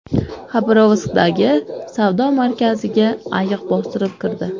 Xabarovskdagi savdo markaziga ayiq bostirib kirdi .